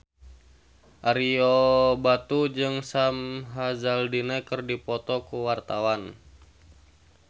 Ario Batu jeung Sam Hazeldine keur dipoto ku wartawan